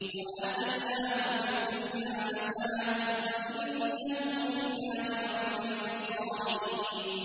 وَآتَيْنَاهُ فِي الدُّنْيَا حَسَنَةً ۖ وَإِنَّهُ فِي الْآخِرَةِ لَمِنَ الصَّالِحِينَ